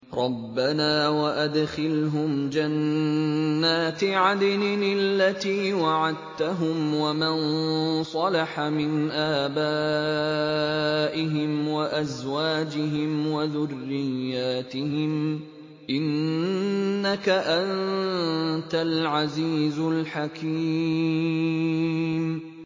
رَبَّنَا وَأَدْخِلْهُمْ جَنَّاتِ عَدْنٍ الَّتِي وَعَدتَّهُمْ وَمَن صَلَحَ مِنْ آبَائِهِمْ وَأَزْوَاجِهِمْ وَذُرِّيَّاتِهِمْ ۚ إِنَّكَ أَنتَ الْعَزِيزُ الْحَكِيمُ